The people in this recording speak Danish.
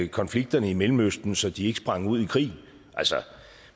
konflikterne i mellemøsten så de ikke sprang ud i krig